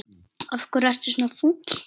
Af hverju ertu svona fúll?